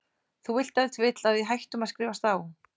Þú vilt ef til vill að við hættum að skrifast á?